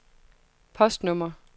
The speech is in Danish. postnummer